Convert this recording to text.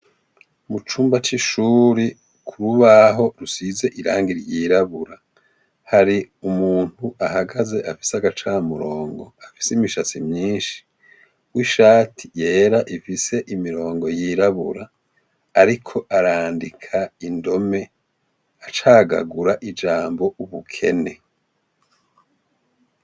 Mu cumba c'ishuri ku rubaho rusize irangi ryirabura hari umuntu ahagaze afise agacamurongo afise imishasi myinshi wo ishati yera ifise imirongo yirabura, ariko arandika indome acagagura ijama ambo ubukene.